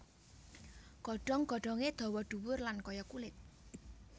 Godhong godhongé dawa dhuwur lan kaya kulit